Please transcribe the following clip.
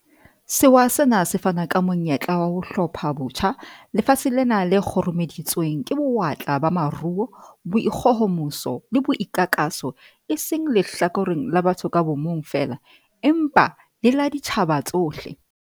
Sewa sena se fana ka monyetla wa ho 'hlophabotjha' lefatshe lena le kgurumeditsweng ke bo-watla ba maruo, boikgohomoso le boikakaso e seng lehlakoreng la batho ka bomong feela, empa le la ditjhaba tsohle.